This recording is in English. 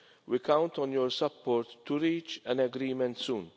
We count on your support to reach an agreement soon.